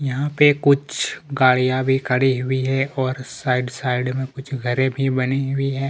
यहाँ पे कुछ गाड़ियां भी खड़ी हुई हैं और साइड साइड मे कुछ घरे भी बनी हुई है।